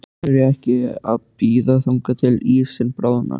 Af hverju ekki að bíða þangað til að ísinn bráðnar?